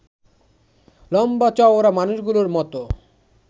লম্বা-চওড়া মানুষগুলোর মতো